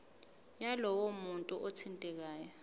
yalowo muntu othintekayo